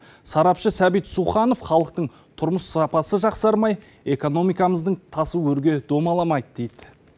сарапшы сәбит суханов халықтың тұрмыс сапасы жақсармай экономикамыздың тасы өрге домаламайды дейді